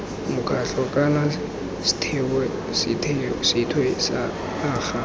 mokgatlho kana sethwe sa naga